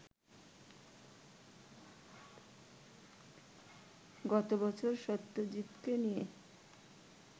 গত বছর সত্যজিৎকে নিয়ে